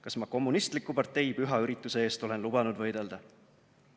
Kas ma kommunistliku partei püha ürituse eest olen lubanud võidelda?